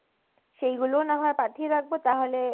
সেইগুলাও নাহলে পাঠিয়ে রাখবো তাহলে